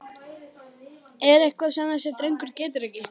Er eitthvað sem þessi drengur getur ekki?!